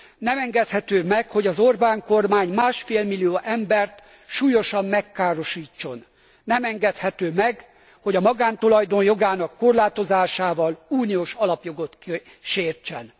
Nem engedhető meg, hogy az Orbán kormány másfélmillió embert súlyosan megkárosítson. Nem engedhető meg, hogy a magántulajdon jogának korlátozásával uniós alapjogot sértsen.